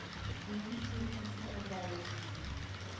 gene frequency indirectly